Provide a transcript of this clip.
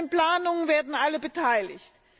An den Planungen werden alle beteiligt.